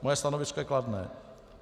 Moje stanovisko je kladné.